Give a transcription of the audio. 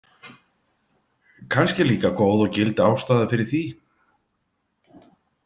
Kannski er líka góð og gild ástæða fyrir því.